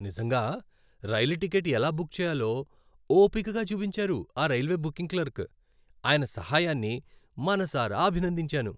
నిజంగా.. rail ticket ఎలా book చేయాలో ఓపికగా చూపించారు ఆ రైల్వే బుకింగ్ క్లర్క్. ఆయన సహాయాన్ని మనసారా అభినందించాను.